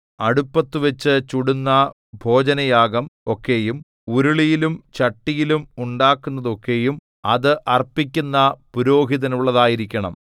അടുപ്പത്തുവച്ചു ചുടുന്ന ഭോജനയാഗം ഒക്കെയും ഉരുളിയിലും ചട്ടിയിലും ഉണ്ടാക്കുന്നതൊക്കെയും അത് അർപ്പിക്കുന്ന പുരോഹിതനുള്ളതായിരിക്കണം